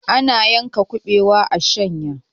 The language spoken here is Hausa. ana yanka kubewa a shanya